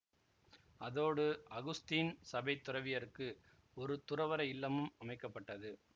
அதோடு அகுஸ்தீன் சபைத் துறவியருக்கு ஒரு துறவற இல்லமும் அமைக்க பட்டது